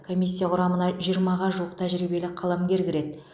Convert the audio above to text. комиссия құрамына жиырмаға жуық тәжірибелі қаламгер кіреді